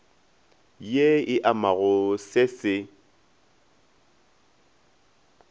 ye e amago se se